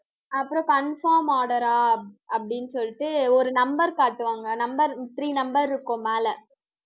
அப்புறம் confirm order ஆ அப்படின்னு சொல்லிட்டு, ஒரு number காட்டுவாங்க. number three number இருக்கும், மேல